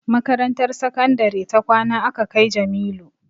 Makarantar sakandare ta kwana aka kai Jamilu